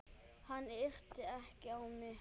Hann yrti ekki á mig.